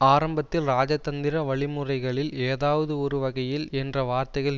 ஆரம்பத்தில் இராஜதந்திர வழி முறைகளில் ஏதாவது ஒரு வகையில் என்ற வார்த்தைகள்